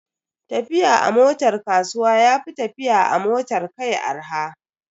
Tafiya a motar kasuwa ya fi tafiya a motar kai arha.